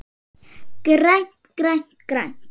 GRÆNT, GRÆNT, GRÆNT.